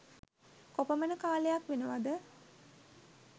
කොපමණ කාලයක් වෙනවද?